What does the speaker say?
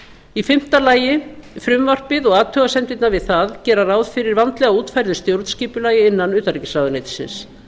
í fimmta lagi frumvarpið og athugasemdirnar við það gera ráð fyrir vandlega útfærðu stjórnskipulagi innan utanríkisráðuneytisins